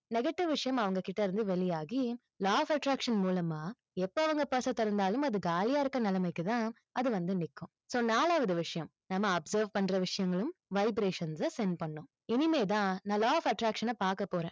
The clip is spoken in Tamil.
negative விஷயம் அவங்க கிட்ட இருந்து வெளியாகி law of attraction மூலமா, எப்போ அவங்க purse அ திறந்தாலும் அது காலியா இருக்கிற நிலைமைக்கு தான், அது வந்து நிற்கும் so நாலாவது விஷயம். நம்ம observe பண்ற விஷயங்களும் vibrations அ send பண்ணும். இனிமேதான் நான் law of attraction அ பார்க்க போறேன்.